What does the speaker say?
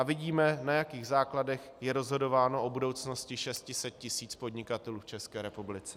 A vidíme, na jakých základech je rozhodováno o budoucnosti 600 tisíc podnikatelů v České republice.